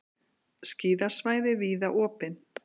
Skíðasvæði víða opin